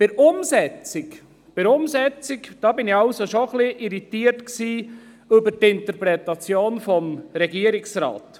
Wenn es um die Umsetzung geht, irritiert mich allerdings die Interpretation des Regierungsrates.